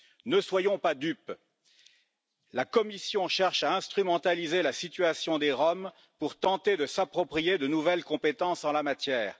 Ne soyons pas dupes, la Commission cherche à instrumentaliser la situation des Roms pour tenter de s'approprier de nouvelles compétences en la matière.